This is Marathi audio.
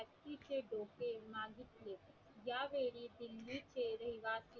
त्या वेळी दिल्ली चे रहिवाशी